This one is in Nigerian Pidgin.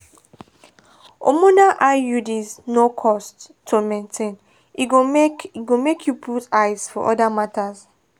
hormonal iuds no cost to maintain e go make e go make you put eyes for other matters.